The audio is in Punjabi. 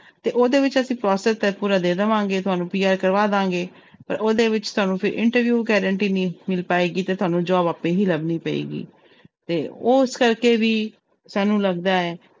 ਤੇ ਉਹਦੇ ਵਿੱਚ ਅਸੀਂ process ਤੇ ਪੂਰਾ ਦੇ ਦੇਵਾਂਗਾ ਤੁਹਾਨੂੰ PR ਕਰਵਾ ਦੇਵਾਂਗੇ, ਪਰ ਉਹਦੇ ਵਿੱਚ ਤੁਹਾਨੂੰ ਫਿਰ interview guarantee ਨਹੀਂ ਮਿਲ ਪਾਏਗੀ ਤੇ ਤੁਹਾਨੂੰ job ਆਪੇ ਹੀ ਲੱਭਣੀ ਪਏਗੀ ਤੇ ਉਸ ਕਰਕੇ ਵੀ ਸਾਨੂੰ ਲੱਗਦਾ ਹੈ,